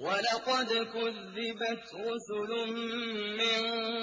وَلَقَدْ كُذِّبَتْ رُسُلٌ مِّن